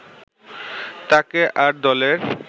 তাকে আর দলের